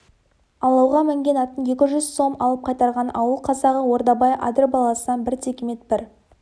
алауға мінген атын екі жүз сом алып қайтарған ауыл қазағы ордабай адыр баласынан бір текемет бір